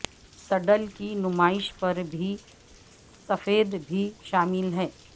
صڈل کی نمائش پر بھی سفید بھی شامل ہے